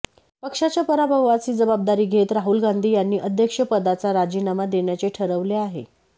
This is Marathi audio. पक्षाच्या पराभवाची जबाबदारी घेत राहुल गांधी यांनी अध्यक्षपदाचा राजीनामा देण्याचे ठरवले आहे